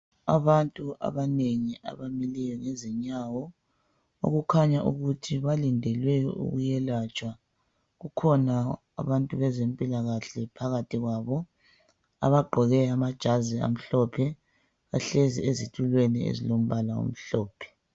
Abantu abanengi abamileyo ngezinyawo, okukhanya ukuthi balindele ukuyelatshwa. Kukhona abantu bezempilakahle phakathi kwabo abagqoke amajazi amhlophe, bahlezi ezitulweni ezilombala omhlophe.